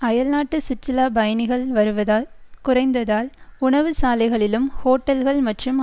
அயல்நாட்டு சுற்றுலா பயணிகள் வருவதால் குறைந்ததால் உணவுச்சாலைகளிலும் ஹோட்டல்கள் மற்றும்